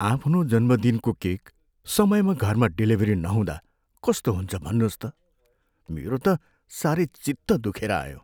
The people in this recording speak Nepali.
आफ्नो जन्मदिनको केक समयमा घरमा डेलिभरी नहुँदा कस्तो हुन्छ भन्नुहोस् त? मेरो त साह्रै चित्त दुखेर आयो।